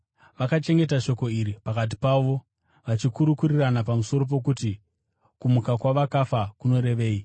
Vakachengeta shoko iri pakati pavo, vachikurukurirana pamusoro pokuti, “kumuka kwavakafa” kunorevei.